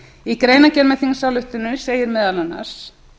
í greinargerð með þingsályktuninni segir meðal annars